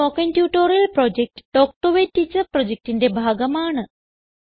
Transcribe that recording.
spoken tutorial project talk to a teacher പ്രൊജക്റ്റിന്റെ ഭാഗമാണ്